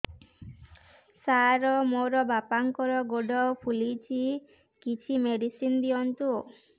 ସାର ମୋର ବାପାଙ୍କର ଗୋଡ ଫୁଲୁଛି କିଛି ମେଡିସିନ ଦିଅନ୍ତୁ